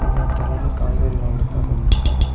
இன்னொருத்தர் வந்து காய்கறி வாங்கறதுக்காக வந்துருக்காரு.